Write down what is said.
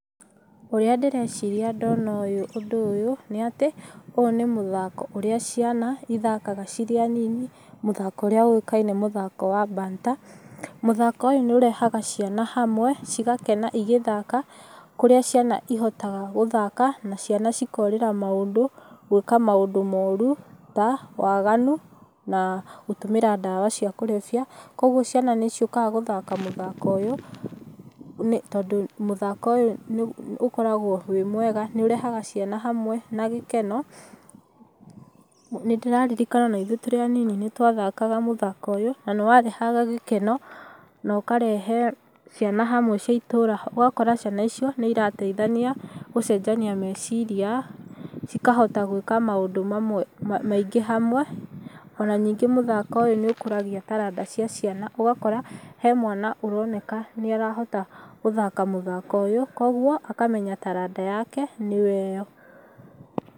Ũrĩa ndĩreciria ndona ũyũ ndona ũndũ ũyũ, nĩ atĩ ũyũ nĩ mũthako ũrĩa ciana ithakaga cirĩ anini, mũthako ũrĩa ũĩkaine mũthako wa banta. Mũthako ũyũ nĩ ũrehaga ciana hamwe cigakena igĩthaka, kũrĩa ciana ihotaga gũthaka na ciana cikorĩra maũndũ, gwĩka maũndũ moru ta waganu na gũtũmĩra ndawa cia kũrebia, koguo ciana nĩ ciũkaga gũthaka mũthako ũyũ nĩ tondũ mũthako ũyũ ũkoragwo wĩ mwega nĩ ũrehaga ciana hamwe ĩri na gĩkeno. Nĩ ndĩraririkana ona ithuĩ tũrĩ anini nĩt wathakaga mũthako ũyũ na nĩ warehaga gĩkeno na ũkarehe ciana hamwe cia itũra ũgakora ciana icio nĩ irateithania gũcenjania meciria cikahota gwĩka maũndũ mamwe maingĩ hamwe, ona ningĩ mũthako ũyũ nĩ ũkũragia taranda cia ciana ũgakora hena mwana ũroneka nĩ arahota gũthaka mũthako ũyũ koguo akamenya taranda yake nĩyo ĩyo.